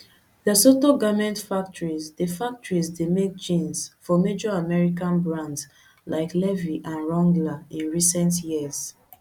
lesotho garment factories dey factories dey make jeans for major american brands like levi and wrangler in recent years